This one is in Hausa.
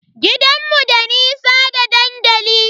Gidanmu da nisa da dandali.